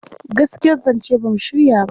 Gaskiyar zance ba mu shirya ba..